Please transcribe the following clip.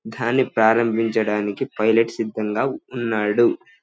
దాన్ని ప్రారంభించడానికి పైలట్ సిదంగా ఉన్నాడు.